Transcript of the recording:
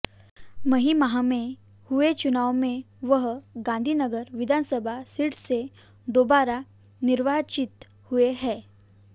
मई माह में हुए चुनावों में वह गांधीनगर विधानसभा सीट से दाेबारा निर्वाचित हुए हैं